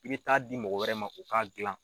I bɛ taa di mɔgɔ wɛrɛ ma u ka gilan.